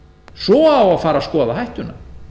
svo á að fara að skoða hættuna